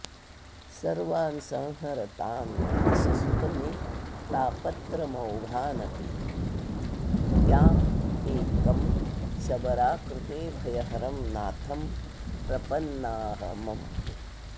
सर्वान् संहर तान् गिरीशसुत मे तापत्र मौघानपि त्या मेकं शबराकृते भयहरं नाथं प्रपना्अम्